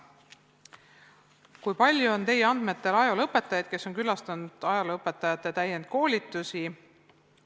Esiteks, kui palju on teie andmetel ajalooõpetajaid, kes on külastanud ajalooõpetajate täienduskoolitusi?